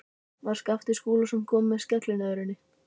Þar var Skapti Skúlason kominn á skellinöðrunni.